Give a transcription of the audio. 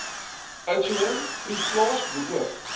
oudtshoorn proefplaas beoog